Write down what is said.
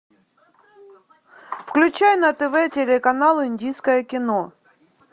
включай на тв телеканал индийское кино